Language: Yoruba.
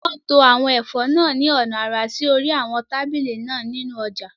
Wọ́n to àwọn ẹ̀fọ́ náà ní ọ̀nà àrà sí orí àwọn tábìlì náà nínú ọjà